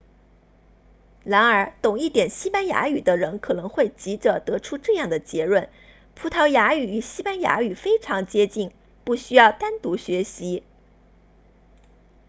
然而懂一点西班牙语的人可能会急着得出这样的结论葡萄牙语与西班牙语非常接近不需要单独学习